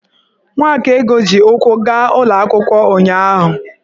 Nwakaego ji ụkwụ gaa ụlọ akwụkwọ ụnyahụ.